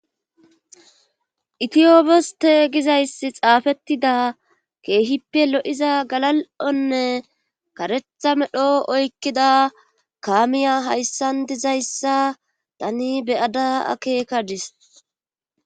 Itiyoppioste gizayssi xaafettida keehippe lo'iza galal'onne karetha medho oykkida kaamiya hayssan dizayssa tani beyada akeekadis.